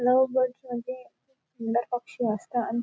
love birds म्हणजे सुंदर पक्षी असत अन--